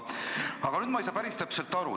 Aga nüüd ma ei saa päris täpselt aru.